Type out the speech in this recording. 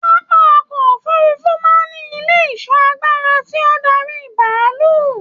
Pápá ọkọ òfurùnfu máa n ní ilé ìṣọ́ àgbàrá tí o n darí bàálù.